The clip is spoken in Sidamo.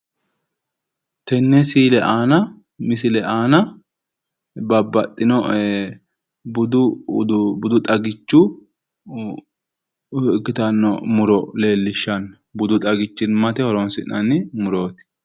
Tenne siile aana misile aana babbaxxino ee buxu xagichu ikkitanno muro leellishshanno. Budu xagichimmate horonsi'nanni murooti.